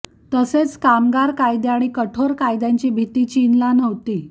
तसेच कामगार कायदे आणि कठोर कायद्यांची भीती चीनला नव्हती